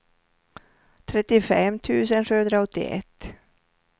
trettiofem tusen sjuhundraåttioett